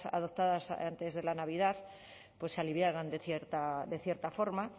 adoptadas antes de la navidad pues se aliviaban de cierta forma